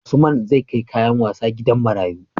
Usman zAi kai kayan wasa gidan marayu